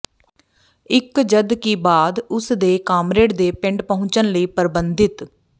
ਇੱਕ ਜਦਕਿ ਬਾਅਦ ਉਸ ਦੇ ਕਾਮਰੇਡ ਦੇ ਪਿੰਡ ਪਹੁੰਚਣ ਲਈ ਪਰਬੰਧਿਤ